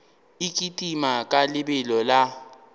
e kitima ka lebelo la